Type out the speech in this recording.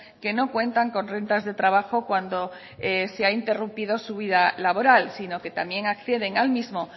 que no cuentan con rentas de trabajo cuando se ha interrumpido su vida laboral sino que también acceden al mismo